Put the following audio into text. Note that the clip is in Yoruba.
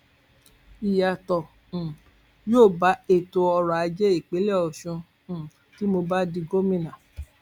ìyàtọ um yóò bá ètò ọrọajé ìpínlẹ ọṣun um tí mo bá di gómìnà